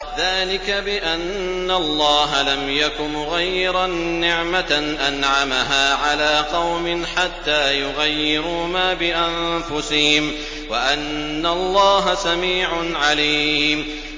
ذَٰلِكَ بِأَنَّ اللَّهَ لَمْ يَكُ مُغَيِّرًا نِّعْمَةً أَنْعَمَهَا عَلَىٰ قَوْمٍ حَتَّىٰ يُغَيِّرُوا مَا بِأَنفُسِهِمْ ۙ وَأَنَّ اللَّهَ سَمِيعٌ عَلِيمٌ